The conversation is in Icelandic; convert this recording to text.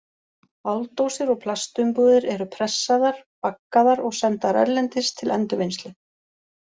Áldósir og plastumbúðir eru pressaðar, baggaðar og sendar erlendis til endurvinnslu.